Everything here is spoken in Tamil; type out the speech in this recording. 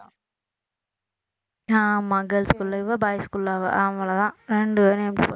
ஆமா girls school ல இவ boys school ல அவன் அவ்வளவுதான் ரெண்டு படிக்க